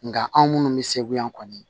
Nga anw minnu bɛ segu yan kɔni